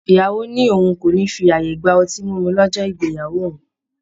ìyàwó ní òun kò ní fi ààyè gba ọtí mímu lọ́jọ́ ìgbéyàwó òun